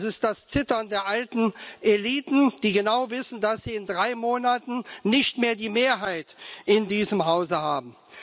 Das ist das Zittern der alten Eliten, die genau wissen, dass sie in drei Monaten nicht mehr die Mehrheit in diesem Hause haben.